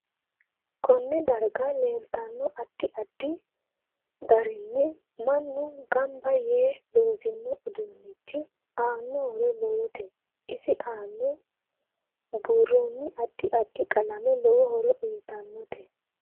Konne daraga leeltano addi addi garinni mannu ganba yee loosino udunichi aano horo lowote isi aana buurooni addi addi qalame lowo horo uyiitanote